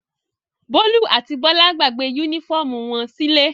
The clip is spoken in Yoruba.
Bólú àti Bọ́lá gbàgbé únífọ́ọ́mù wọn sílé.